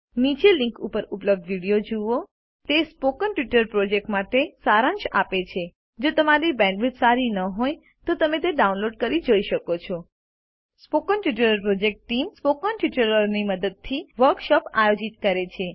નીચેની લીંક ઉપર ઉપલબ્ધ વિડીયો જુઓ httpspoken tutorialorgWhat is a Spoken Tutorial તે સ્પોકન ટ્યુટોરીયલ પ્રોજેક્ટ માટે સારાંશ આપે છે જો તમારી પાસે બેન્ડવિડ્થ સારી ન હોય તો તમે તે ડાઉનલોડ કરીને જોઈ શકો છો spoken tutorial project team spoken ટ્યુટોરીયલોની મદદથી વર્કશોપો આયોજિત કરે છે